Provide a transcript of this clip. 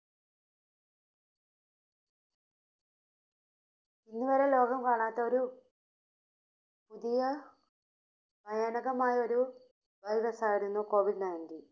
ഇന്നുവരെ ലോകം കാണാത്ത ഒരു പുതിയ ഭയാനകമായ ഒരു Virus ആയിരുന്നു Covid നയൻറ്റീൻ.